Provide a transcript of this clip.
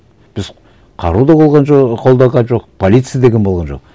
біз қару да болған жоқ қолданған жоқ полиция деген болған жоқ